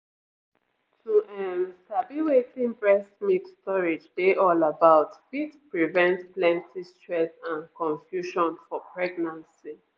to um sabi wetin breast milk storage dey all about fit prevent plenty stress and confusion for pregnancy